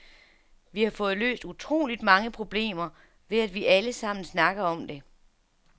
Vi har fået løst utroligt mange problemer, ved at vi alle sammen snakker om det.